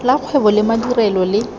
la kgwebo le madirelo le